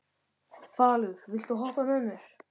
Falur, viltu hoppa með mér?